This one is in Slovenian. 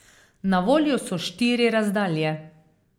Na voljo so štiri razdalje.